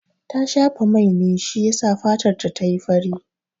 Ta shafa mai ne shi yasa fatarta ta yi fari.